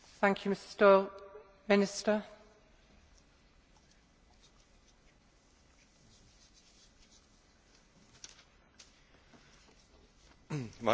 Vážená paní předsedkyně, vážená paní poslankyně, dámy a pánové, označování původu drůbežího masa není součástí přílohy 14 nařízení Rady č.